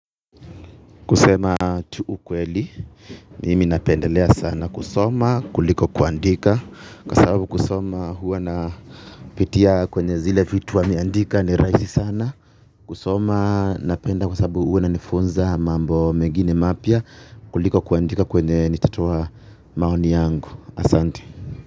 Kusema tu ukweli, mimi napendelea sana kusoma kuliko kuandika. Kwa sababu kusoma huwa na pitia kwenye zile vitu wameandika ni rahisi sana. Kusoma napenda kwa sababu huwa inanifunza mambo mengine mapya kuliko kuandika kwenye nitatoa maoni yangu, asante.